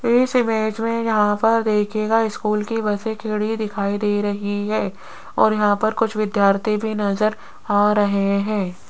इस इमेज में यहां पर देखिएगा स्कूल की बसें खड़ी दिखाई दे रही है और यहां पर कुछ विद्यार्थी भी नजर आ रहे हैं।